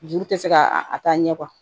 Juru tɛ se ka a ta ɲɛ kuwa